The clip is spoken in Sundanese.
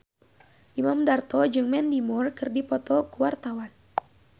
Imam Darto jeung Mandy Moore keur dipoto ku wartawan